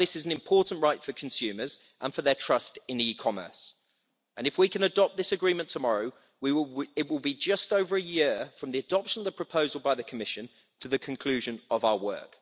This is an important right for consumers and for their trust in e commerce, and if we can adopt this agreement tomorrow, it will be just over a year from the adoption of the proposal by the Commission to the conclusion of our work.